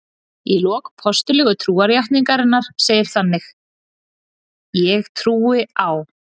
Í lok Postullegu trúarjátningarinnar segir þannig: Ég trúi á.